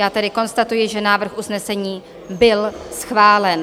Já tedy konstatuji, že návrh usnesení byl schválen.